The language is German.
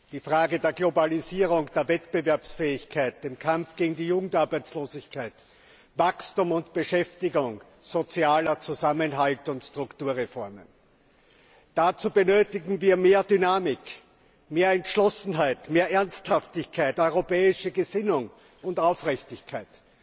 Die Frage der Globalisierung, der Wettbewerbsfähigkeit, der Kampf gegen die Jugendarbeitslosigkeit, Wachstum und Beschäftigung, sozialer Zusammenhalt und Strukturreformen dazu benötigen wir mehr Dynamik, mehr Entschlossenheit, mehr Ernsthaftigkeit, europäische Gesinnung und Aufrichtigkeit.